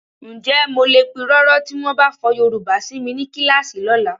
Ǹjẹ́ mo lè pirọrọ tí wọ́n bá fọ Yorùbá si mi ní kíláàsì lọ́la?